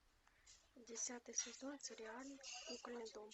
десятый сезон сериал кукольный дом